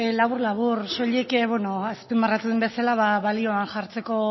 labur labur soilik azpimarratu den bezala balioan jartzeko